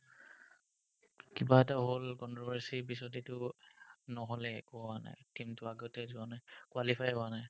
কিবা এটা হ'ল controversy পিছত এটো নহ'লে একো নাই আৰ কিন্তু আগতে হোৱা নাই qualify হোৱা নাই